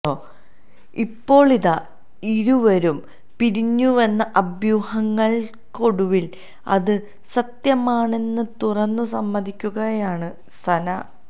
ഇപ്പോളിതാ ഇരുവരും പിരിഞ്ഞുവെന്ന അഭ്യൂഹങ്ങൾക്കൊടുവിൽ അത് സത്യമാണെന്ന് തുറന്നു സമ്മതിക്കുകയാണ് സന